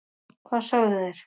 hvað sögðu þeir?